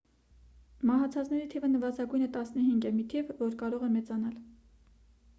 մահացածների թիվը նվազագույնը 15 է մի թիվ որը կարող է մեծանալ